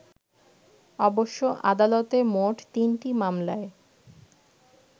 অবশ্য আদালতে মোট তিনটি মামলায়